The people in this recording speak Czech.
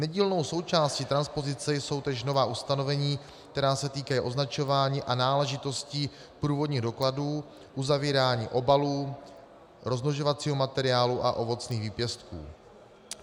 Nedílnou součástí transpozice jsou též nová ustanovení, která se týkají označování a náležitostí průvodních dokladů, uzavírání obalů, rozmnožovacího materiálu a ovocných výpěstků.